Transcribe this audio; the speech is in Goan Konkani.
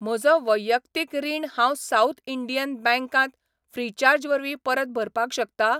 म्हजो वैयक्तीक रीण हांव साउथ इंडियन बँक त ऴ्रीचार्ज वरवीं परत भरपाक शकता?